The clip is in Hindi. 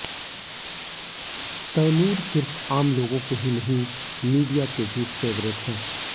तैमूर सिर्फ आम लोगों के ही नहीं मीडिया के भी फेवरेट हैं